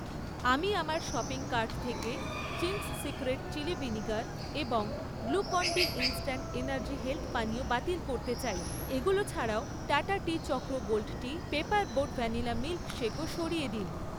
আমি আমার shopping cart থেকে চিংস সিক্রেট চিলি ভিনিগার এবং Glucon D instant energy health পানীয় বাতিল করতে চাই। এগুলো ছাড়াও, Tata tea Chakra gold tea, paper boat vanilla মিল্কশেকও সরিয়ে দিন।